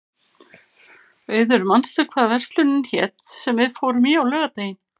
Auður, manstu hvað verslunin hét sem við fórum í á laugardaginn?